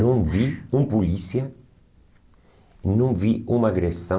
Não vi um polícia, não vi uma agressão.